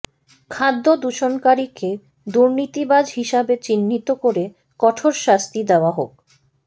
খাদ্য দূষণকারীকে দুর্নীতিবাজ হিসাবে চিহ্নিত করে কঠোর শাস্তি দেয়া হোক